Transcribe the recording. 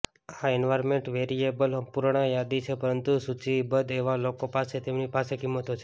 આ એન્વાર્નમેન્ટ વેરીએબલની અપૂર્ણ યાદી છે પરંતુ સૂચિબદ્ધ એવા લોકો પાસે તેમની પાસે કિંમતો છે